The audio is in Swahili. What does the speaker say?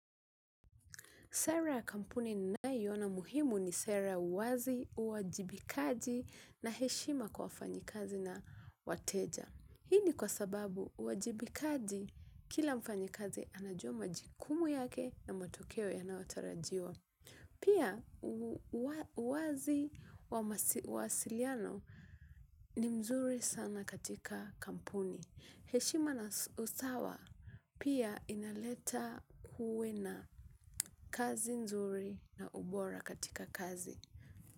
Sera ya kampuni ninayoina muhimu ni sera wazi, uwajibikaji na heshima kwa wafanyikazi na wateja. Hii ni kwa sababu uwajibikaji kila mfanyikazi anajua majukumu yake na matokeo yanayotarajiwa. Pia uwazi wa mawasiliano ni mzuri sana katika kampuni. Heshima na usawa pia inaleta kuwe na kazi nzuri na ubora katika kazi.